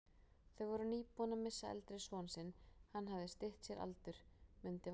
Þau voru nýbúin að missa eldri son sinn, hann hafði stytt sér aldur, mundi Valdimar.